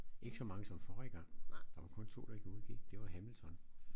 Ikke så mange som forrige gang der var kun 2 der udgik det var Hamilton